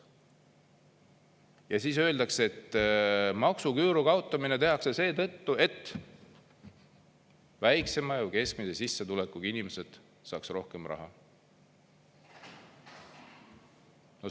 Ja siis öeldakse, et maksuküüru kaotamine tehakse seetõttu, et väiksema ja keskmise sissetulekuga inimesed saaks rohkem raha.